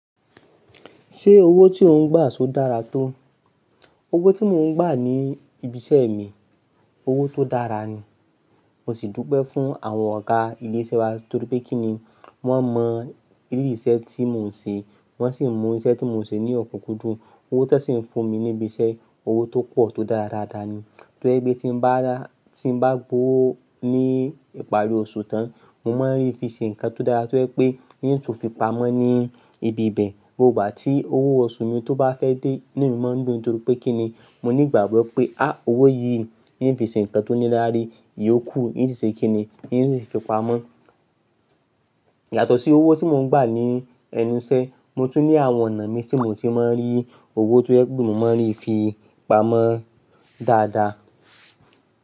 Ṣé owó tí ò ń gbà ṣò dára tó? Owó tí mò ń gbà ní ibi iṣẹ́ mi, owó tó dára ni. Mo sì dúpẹ́ fún àwọn ọ̀gá ilé iṣẹ́ wa nítorí pé kíni, wọ́n mọ rírì iṣẹ́ tí mò ń ṣe, wọ́n sì mú iṣẹ́ tí mò ń ṣe ní ọ̀pọ̀kùjú. Owó tí wọ́n sì ń fún mi ní ibi iṣẹ́, owó tó pọ̀ tó dára dáadáa ni. To jẹ pé tí bá ra, tí ń bá gbó ó ní ìparí oṣù tán, mo máa rí i fi ṣe nǹkan tó dára. To jẹ pé hín tún fi pamọ́ ní ibi ibẹ̀, nígbà tí owó oṣù mi tó bá fẹ́ dé, inú mi máa ń dùn. Nítorí pé kíni, mo ní ìgbàgbọ́ pé, á owó yìí ń fi ṣe nǹkan tó ní láárí, iyóò kù níṣe kíni, yóò sì fi pamọ́. Yàtọ̀ sí owó tí mò ń gbà ní ẹnu iṣẹ́, mo tún ní àwọn ọ̀nà mi tí mò ti máa ń rí owó tó yẹ pé mò máa ń rí fi pamọ́ dáadáa.